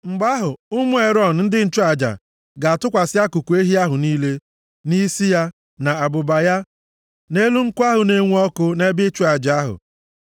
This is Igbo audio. Mgbe ahụ, ụmụ Erọn ndị nchụaja ga-atụkwasị akụkụ ehi ahụ niile, na isi ya, na abụba ya, nʼelu nkụ ahụ na-enwu ọkụ nʼebe ịchụ aja ahụ.